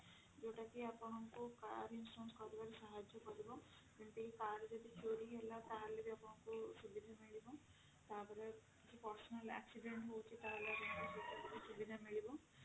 ଯଉଟା କି ଆପଣଙ୍କୁ car insurance କରିବାରେ ସାହାର୍ଯ୍ୟ କରିବ ଯେମିତି car ଯଦି ଚୋରି ହେଲା ତାହେଲେ ବି ଆପଣଙ୍କୁ ସୁବିଧା ମିଳିବ ତାପରେ କିଛି personal accident ହଉଛି ତାହେଲେ ବି ସୁବିଧା ମିଳିବ